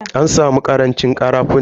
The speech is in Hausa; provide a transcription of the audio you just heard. An samu karancin karafunan.